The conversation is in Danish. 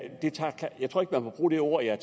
man må bruge det ord jeg